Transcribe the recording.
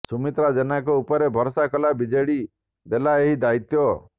ସୁମିତ୍ରା ଜେନାଙ୍କ ଉପରେ ଭରସା କଲା ବିଜେଡି ଦେଲା ଏହି ଦାୟିତ୍ୱ